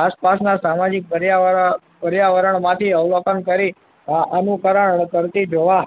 આસપાસના સામાજિક પર્યાવરણ પર્યાવરણ માંથી અવલોકન કરી અનુકરણ કરતી જોવા